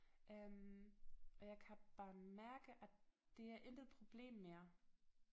Øh og jeg kan bare mærke at det er intet problem mere